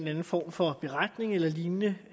en form for beretning eller lignende